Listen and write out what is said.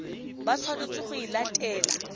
ba tshwanetseng go e latela